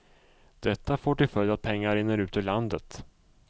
Detta får till följd att pengar rinner ut ur landet.